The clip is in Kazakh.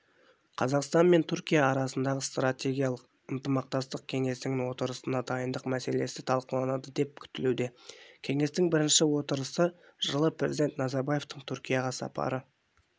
қазақстан мен түркия арасындағы стратегиялық ынтымақтастық кеңесінің отырысына дайындық мәселесі талқыланады деп күтілуде кеңестің бірінші отырысы жылы президент назарбаевтың түркияға сапары